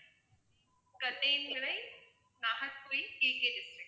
Kattaiyanvilai Nagercoil KK district